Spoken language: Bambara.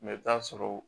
Mɛ i bɛ t'a sɔrɔ